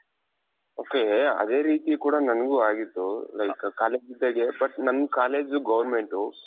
ok ಅದೇ ರೀತಿ ಕೂಡ ನoಗೂ ಆಗಿತ್ತು like college ಇದ್ದಾಗ್ಲೇ but ನನ್ collegeಜು governmentಟು.